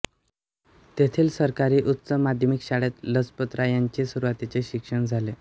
तेथील सरकारी उच्च माध्यमिक शाळेत लजपतरायांचे सुरुवातीचे शिक्षण झाले